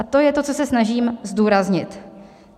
A to je to, co se snažím zdůraznit.